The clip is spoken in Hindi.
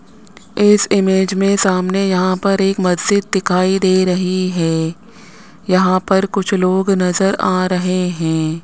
इस इमेज में सामने यहां पर एक मस्जिद दिखाई दे रही है यहां पर कुछ लोग नजर आ रहे हैं।